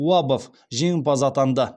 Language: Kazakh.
уабов жеңімпаз атанды